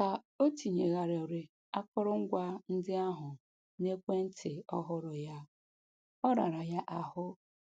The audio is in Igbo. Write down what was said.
Ka o tinyegharịrị akụrụngwa ndị ahụ n'ekwentị ọhụrụ ya, ọ rara ya ahụ